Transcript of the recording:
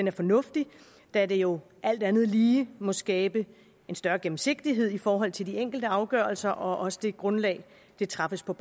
er fornuftig da det jo alt andet lige må skabe en større gennemsigtighed i forhold til de enkelte afgørelser og også det grundlag de træffes på